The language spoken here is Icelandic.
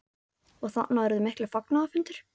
Og þarna urðu miklir fagnaðarfundir?